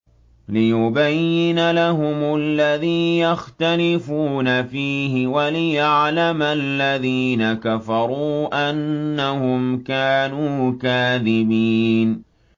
لِيُبَيِّنَ لَهُمُ الَّذِي يَخْتَلِفُونَ فِيهِ وَلِيَعْلَمَ الَّذِينَ كَفَرُوا أَنَّهُمْ كَانُوا كَاذِبِينَ